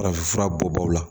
Farafinfura bɔ baw la